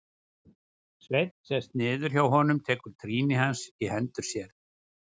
Sveinn sest niður hjá honum, tekur trýni hans í hendur sér.